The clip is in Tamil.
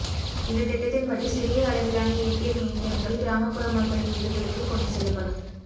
இந்த திட்டத்தின்படி சிறிய அளவிலான ஏடிஎம் இயந்திரங்கள் கிராமப்புற மக்களின் வீடுகளுக்கு கொண்டு செல்லப்படும்